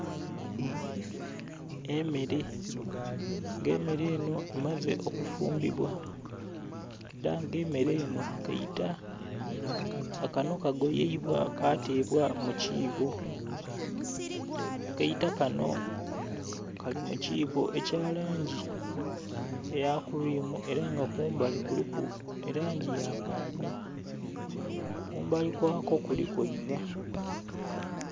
Emmere, nga emmere enho emaze okufumbibwa era nga emmere enho kaita nga kanho kagoyeibwa katebwa mu kiibo, akaita kanho kali mu kiibo ekya langi eya "cream" era nga kumbali kuliku elangi ya paapo. Kumbali kwako kuliku eiva.